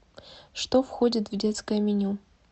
что входит в детское меню